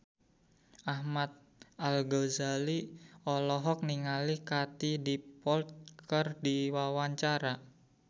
Ahmad Al-Ghazali olohok ningali Katie Dippold keur diwawancara